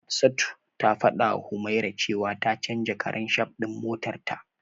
Hafsatu ta fadawa Humaira cewa ta canja karan shaf din motarta.